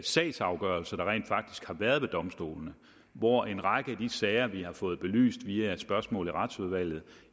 sagsafgørelser der rent faktisk har været ved domstolene hvor en række af de sager vi har fået belyst via spørgsmål i retsudvalget